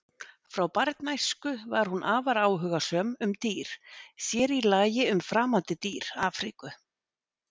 Frá barnæsku var hún afar áhugasöm um dýr, sér í lagi um framandi dýr Afríku.